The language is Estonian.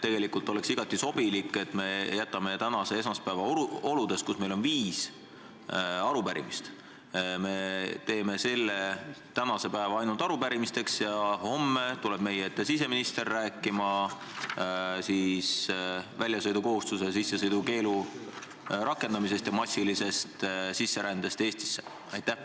Tegelikult oleks igati sobilik, kui me tänaseid olusid arvestades, kus meil on kavas viis arupärimist, jääksime ainult arupärimiste juurde ning homme tuleks meie ette siseminister rääkima väljasõidukohustuse ja sissesõidukeelu rakendamisest ning massilisest sisserändest Eestisse.